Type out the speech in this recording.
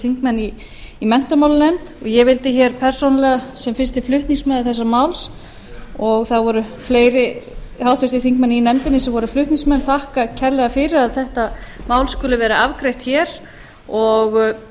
þingmenn í menntamálanefnd ég vildi hér persónulega sem fyrsti flutningsmaður þessa máls og það voru fleiri háttvirtir þingmenn sem voru flutningsmenn þakka kærlega fyrir að þetta mál skuli vera afgreitt hér og